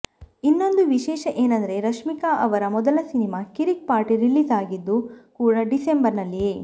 ಇನ್ನೊಂದು ವಿಶೇಷ ಏನಂದ್ರೆ ರಶ್ಮಿಕಾ ಅವರ ಮೊದಲ ಸಿನಿಮಾ ಕಿರಿಕ್ ಪಾರ್ಟಿ ರಿಲೀಸ್ ಆಗಿದ್ದು ಕೂಡ ಡಿಸೆಂಬರ್ ನಲ್ಲಿಯೇ